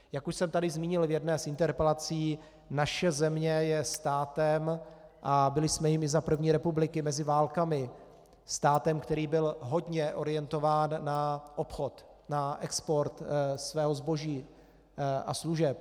Jak už jsem tady zmínil v jedné z interpelací, naše země je státem a byli jsme jím i za první republiky mezi válkami, státem, který byl hodně orientován na obchod, na export svého zboží a služeb.